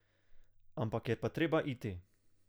Ampak je pa treba iti.